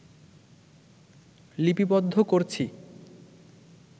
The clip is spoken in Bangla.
লিপিবদ্ধ করছি